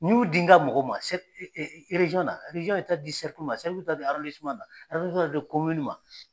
N y'u di n ka mɔgɔw ma na, ye taa'a di ma, be taa'a na, be di ma s